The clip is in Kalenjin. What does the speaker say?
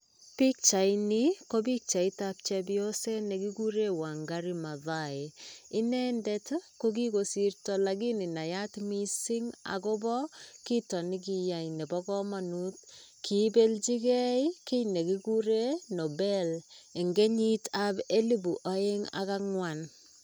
Pichaini kopichait tap chepyoset nekikuren wangari mathai inendet kokikosirto lakini nayat missing akopo kiito nekiyai nebo komonut kiibeljigee kiit nekikuren nobel en kenyit ab elibu oeng ak angwan.